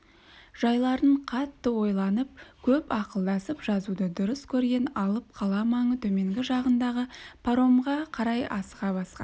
жайларын қатты ойланып көп ақылдасып жазуды дұрыс көрген алып қала маңы төменгі жағындағы паромға қарай асыға басқан